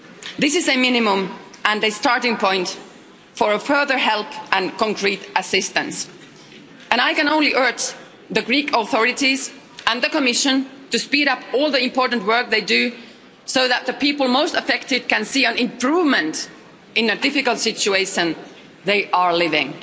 This is a minimum and a starting point for further help and concrete assistance, and I can only urge the Greek authorities and the Commission to speed up all the important work they do so that the people most affected can see an improvement in the difficult situation they are living